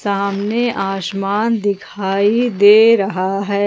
सामने आसमान दिखाई दे रहा है।